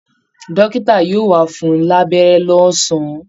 Dọ́ọ́kítà yóò wá fún-un lánẹ́rẹ́ lọ́sàn-án